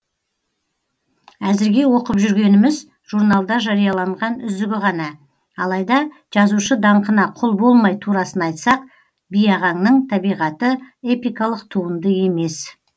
әзіргі оқып жүргеніміз журналда жарияланған үзігі ғана алайда жазушы даңқына құл болмай турасын айтсақ биағаңның табиғаты эпикалық туынды емес